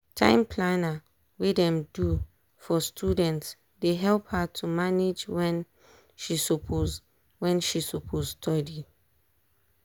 time planner wey dem do for studentsdey help her to manage wen she suppose wen she suppose study.